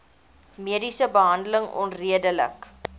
mediese behandeling onredelik